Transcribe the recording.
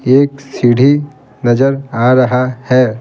एक सीढ़ीनजर आ रहा है।